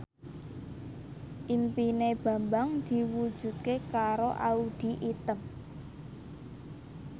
impine Bambang diwujudke karo Audy Item